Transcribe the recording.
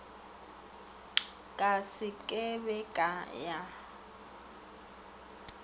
ka se ke be ya